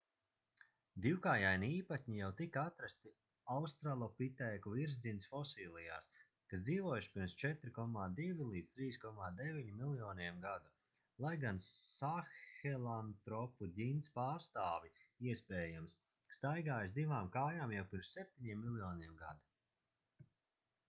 divkājaini īpatņi jau tika atrasti australopitēku virsģints fosilijās kas dzīvojuši pirms 4,2–3,9 miljoniem gadu lai gan sāhelantropu ģints pārstāvji iespējams staigāja uz divām kājām jau pirms 7 miljoniem gadu